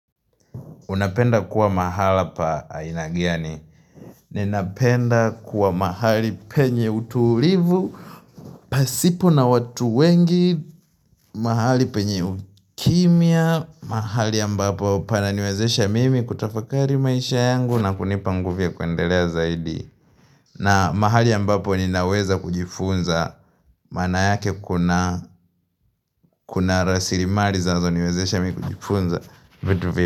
Unapenda kuwa mahala pa aina gani. Ninapenda kuwa mahali penye utulivu, pasipo na watu wengi, mahali penye ukimya, mahali ambapo pana niwezesha mimi kutafakari maisha yangu na kunipa nguvu ya kuendelea zaidi. Na mahali ambapo ninaweza kujifunza, maana yake kuna rasilimali zinazo niwezesha mimi kujifunza.